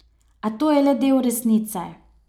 A to je le del resnice.